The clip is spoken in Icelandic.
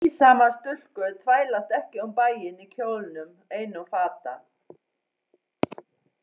Siðsamar stúlkur þvælast ekki um bæinn í kjólnum einum fata